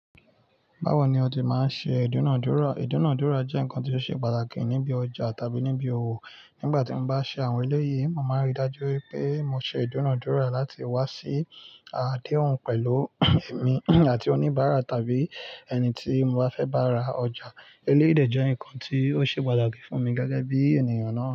Báwo ni o ti máa ń ṣe ìdúnàádúrà? Ìdúnàádúrà jẹ́ nǹkan tó ṣe pàtàkì níbi ọjà tàbí níbi òwò. Nígbà tí mo bá ṣé àwọn eléyìí, màmá rí i dájú pé mo ṣe ìdúnàádúrà láti wá sí àdéhùn pẹ̀lú èmi àti oníbàárà tàbí ẹni tí mo bá fẹ́ bá ra ọjà. Eléyìí de jẹ́ nǹkan tó ṣe pàtàkì fún mi gẹ́gẹ́ bí ènìyàn náà.